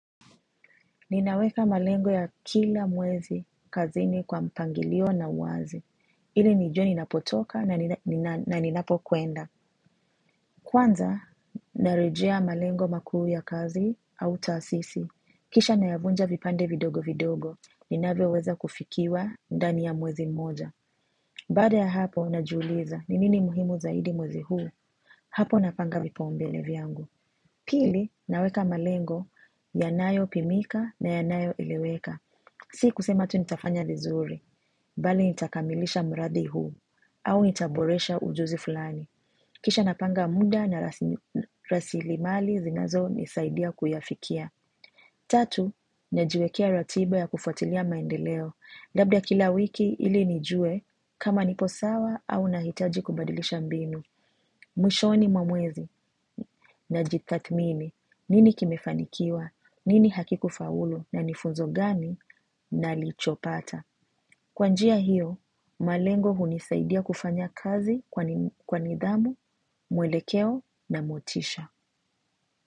Ninaweka malengo ya kila mwezi kazini kwa mpangilio na uwazi. Ilinijue ninapotoka na ninapokwenda. Kwanza, narejea malengo makuu ya kazi au taasisi. Kisha nayavunja vipande vidogo vidogo, ninavyoweza kufikiwa ndani ya mwezi mmoja. Baada ya hapo, najiuliza, ni nini muhimu zaidi mwezi huu? Hapo napanga vipaumbele viangu. Pili, naweka malengo yanayopimika na yanayoeleweka. Si kusema tu nitafanya vizuri, bali nitakamilisha mradi huu, au nitaboresha ujuzi fulani. Kisha napanga muda na rasilimali zinazonisaidia kuyafikia. Tatu, najiwekea ratiba ya kufuatilia maendeleo. Labda kila wiki ilinijue, kama nipo sawa au nahitaji kubadilisha mbinu. Mwishoni mwamwezi na jitatmini, nini kimefanikiwa, nini hakikufaulu na nifunzo gani nalichopata. Kwanjia hiyo, malengo hunisaidia kufanya kazi kwa nidhamu, mwelekeo na motisha.